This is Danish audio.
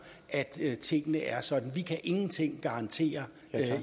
at tingene er sådan vi kan ingenting garantere